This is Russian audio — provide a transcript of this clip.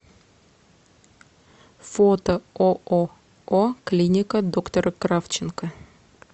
фото ооо клиника доктора кравченко